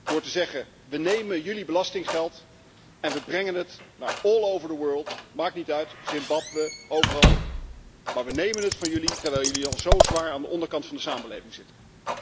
Door te zeggen we nemen jullie belastinggeld en we brengen het naar overal ter wereld, maakt niet uit, Zimbabwe, overal, maar we nemen het geld van jullie, terwijl jullie al zo zwaar aan de onderkant van de samenleving zitten?